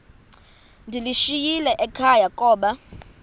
ndiyishiyile ekhaya koba